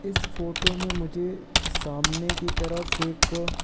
इस फोटो में मुझे सामने की तरफ एक--